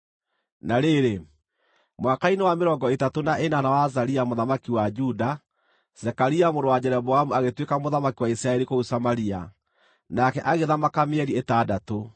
Na rĩrĩ, mwaka-inĩ wa mĩrongo ĩtatũ na ĩnana wa Azaria mũthamaki wa Juda, Zekaria mũrũ wa Jeroboamu agĩtuĩka mũthamaki wa Isiraeli kũu Samaria, nake agĩthamaka mĩeri ĩtandatũ.